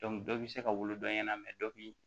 dɔ bi se ka wolo dɔ ɲɛna dɔ bi